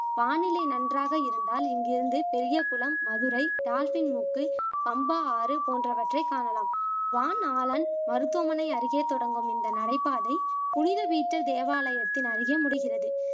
வானிலை நன்றாக இருந்தால் இங்கிருந்து பெரியகுலம், மதுரை, டால்பின் மூக்கு, பம்பா ஆறு போன்றவற்றை காணலாம் வான்ஆலன் மருத்துவமனை அருகே தொடங்கும் இந்த நடைபாதை புனித தீர்த்த தேவாலயத்தின் அருகே முடிகிறது